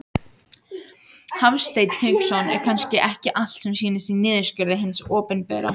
Hafsteinn Hauksson: Er kannski ekki allt sem sýnist í niðurskurði hins opinbera?